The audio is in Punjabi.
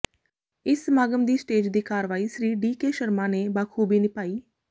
ਇਸ ਸਮਾਗਮ ਦੀ ਸਟੇਜ ਦੀ ਕਾਰਵਾਈ ਸ੍ਰੀ ਡੀ ਕੇ ਸ਼ਰਮਾ ਨੇ ਬਾਖੂਬੀ ਨਿਭਾਈ